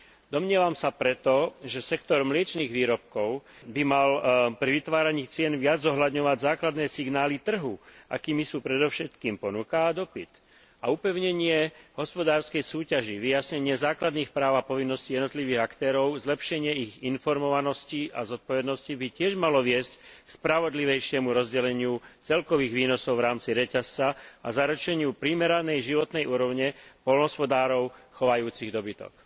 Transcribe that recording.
Domnievam sa preto, že sektor mliečnych výrobkov by mal pri vytváraní cien viac zohľadňovať základné signály trhu, akými sú predovšetkým ponuka a dopyt, a upevnenie hospodárskej súťaže, vyjasnenie základných práv a povinností jednotlivých aktérov, zlepšenie ich informovanosti a zodpovednosti by tiež malo viesť k spravodlivejšiemu rozdeleniu celkových výnosov v rámci reťazca a zlepšeniu primeranej životnej úrovne poľnohospodárov chovajúcich dobytok.